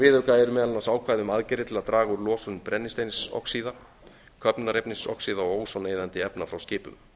viðauka eru meðal annars ákvæði um aðgerðir til að draga úr losun brennisteinsoxíða köfnunarefnisoxíða og ózoneyðandi efna frá skipum